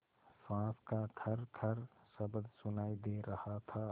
साँस का खरखर शब्द सुनाई दे रहा था